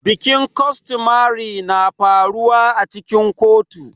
Bikin costomary na faruwa cikin kotu.